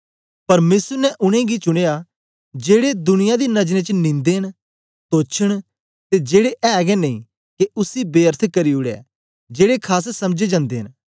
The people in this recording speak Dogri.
परमेसर ने उनेंगी चुनयां जेदे दुनिया दी नजरें च नीदें न तोच्छ न ते जेड़े ऐ गै नेई के उसी बेअर्थ करी उड़े जेड़े खास समझें जंदे न